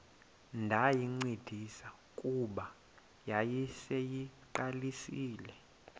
ndayincedisa kuba yayiseyiqalisile